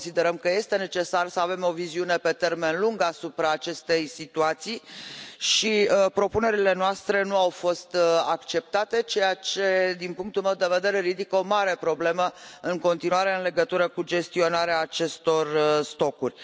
Considerăm că este necesar să avem o viziune pe termen lung asupra acestei situații și propunerile noastre nu au fost acceptate, ceea ce din punctul meu de vedere ridică o mare problemă în continuare în legătură cu gestionarea acestor stocuri.